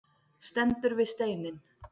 Stendur við steininn.